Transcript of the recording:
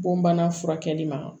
Bon bana furakɛli ma